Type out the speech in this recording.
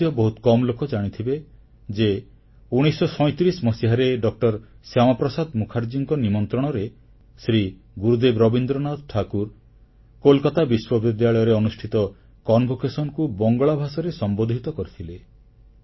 ଏହାମଧ୍ୟ ବହୁତ କମ୍ ଲୋକ ଜାଣିଥିବେ ଯେ 1937 ମସିହାରେ ଡ ଶ୍ୟାମାପ୍ରସାଦ ମୁଖାର୍ଜୀଙ୍କ ନିମନ୍ତ୍ରଣରେ ଶ୍ରୀ ଗୁରୁଦେବ ରବୀନ୍ଦ୍ରନାଥ ଠାକୁର କୋଲକାତା ବିଶ୍ୱବିଦ୍ୟାଳୟରେ ଅନୁଷ୍ଠିତ ସମାବର୍ତ୍ତନ ସମାରୋହକୁ ବଙ୍ଗଳା ଭାଷାରେ ସମ୍ବୋଧିତ କରିଥିଲେ